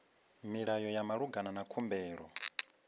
milayo ya malugana na khumbelo